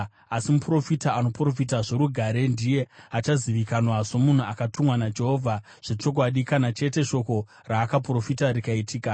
Asi muprofita anoprofita zvorugare ndiye achazivikanwa somunhu akatumwa naJehovha zvechokwadi kana chete shoko raakaprofita rikaitika.”